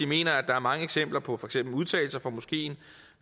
mener at der er mange eksempler på for eksempel udtalelser fra moskeen